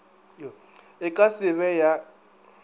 e ka se be ya